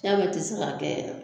Ya bɛ ti se k'a kɛ yɛrɛ